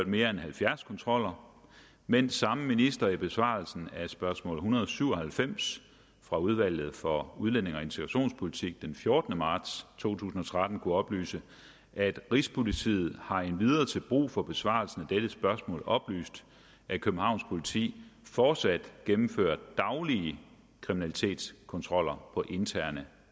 mere end halvfjerds kontroller mens samme minister i besvarelsen af spørgsmål en hundrede og syv og halvfems fra udvalget for udlændinge og integrationspolitik den fjortende marts to tusind og tretten kunne oplyse at rigspolitiet har endvidere til brug for besvarelsen af dette spørgsmål oplyst at københavns politi fortsat gennemfører daglige kriminalitetskontroller på interne